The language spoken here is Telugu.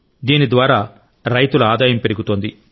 దీనిద్వారా రైతుల ఆదాయం పెరుగుతోంది